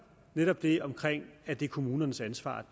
netop det om at det er kommunernes ansvar